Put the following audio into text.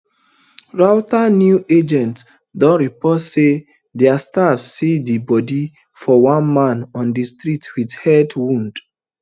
reuters news agency don report say dia staff see di body of one man on di street wit head wound